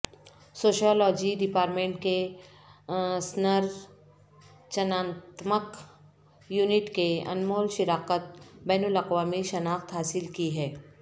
sociology department کے سنرچناتمک unit کے انمول شراکت بین الاقوامی شناخت حاصل کی ہے